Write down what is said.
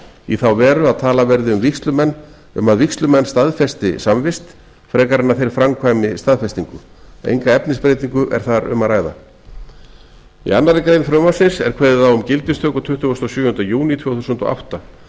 í þá veru að talað verði um að vígslumenn staðfesti samvist frekar en að þeir framkvæmi staðfestingu enga efnisbreytingu er þar um að ræða í annarri grein frumvarpsins er kveðið á um gildistöku tuttugasta og sjöunda júní tvö þúsund og átta og